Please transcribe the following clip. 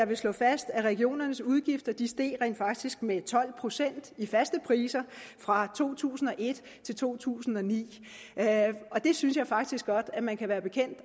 vil slå fast at regionernes udgifter rent faktisk steg med tolv procent i faste priser fra to tusind og et til to tusind og ni det synes jeg faktisk godt man kan være bekendt